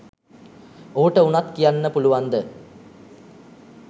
ඔහුට උනත් කියන්න පුලුවන්ද